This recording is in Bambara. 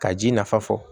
Ka ji nafa fɔ